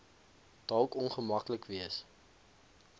dalk ongemaklik wees